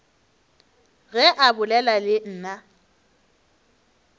ge a bolela le nna